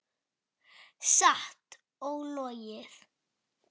Satt og logið.